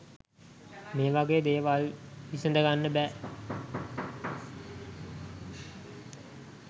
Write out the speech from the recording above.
මේ වගේ දේවල් විසඳගන්න බෑ.